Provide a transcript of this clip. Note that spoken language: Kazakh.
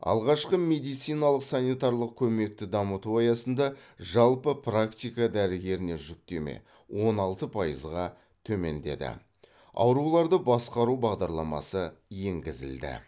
алғашқы медициналық санитарлық көмекті дамыту аясында жалпы практика дәрігеріне жүктеме он алты пайызға төмендеді ауруларды басқару бағдарламасы енгізілді